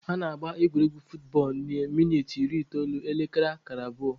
A na-agba egwuregwu futbọọlụ na minit iri itoolu, ekere kara abụọ.